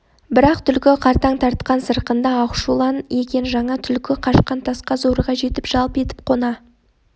бірақ түлкі қартаң тартқан сырқынды ақшулан екен жаңа түлкі қашқан тасқа зорға жетіп жалп етіп қона